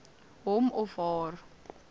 hom of haar